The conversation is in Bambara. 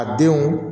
A denw